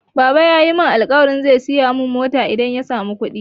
Baba yayi alƙawarin zai siya mun mota idan ya samu kuɗi.